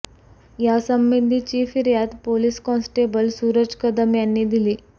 या संबंधीची फिर्याद पोलिस कॉन्स्टेबल सूरज कदम यांनी दिली